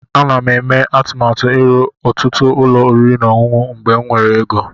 Ana m eme atụmatụ ịrụ ọtụtụ ụlọ oriri na ọṅụṅụ mgbe m nwere ego.